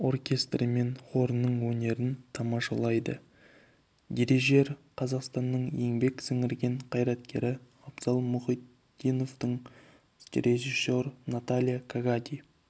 оркестрі мен хорының өнерін тамашалайды дирижер қазақстанның еңбек сіңірген қайраткері абзал мұхитдинов режиссер наталья кагадий